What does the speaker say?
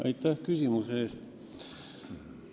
Aitäh küsimuse eest!